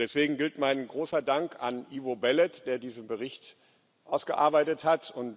Deswegen gilt mein großer Dank Ivo Belet, der diesen Bericht ausgearbeitet hat.